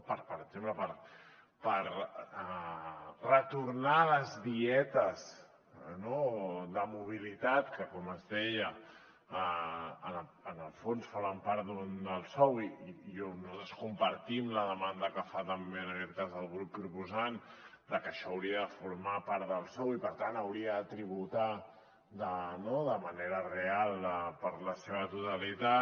per exemple per retornar les dietes de mobilitat que com es deia en el fons formen part del sou i on nosaltres compartim la demanda que fa també en aquest cas el grup proposant de que això hauria de formar part del sou i per tant hauria de tributar de manera real per la seva totalitat